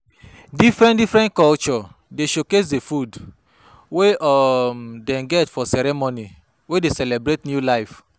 Different-different culture dey showcase di food wey um dem get for ceremony wey dey celebrate new life.